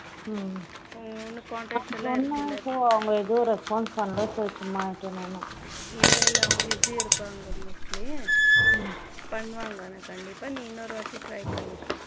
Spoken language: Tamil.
உன்ன contacts எல்லாம் இருக்கு இல்ல அப்படி சொன்னாலும் அவங்க ஏதும் response பண்ணல so சும்மா விட்டேன் நானும் இல்லை இல்லை அவங்க busy இருப்பாங்க mostly பண்ணுவாங்க ஆனா கண்டிப்பா நீ இன்னொரு வாட்டி try பண்ணு